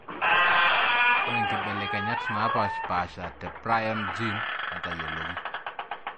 Ore nkibelekenyat napashpasha te prion gene netayioloki.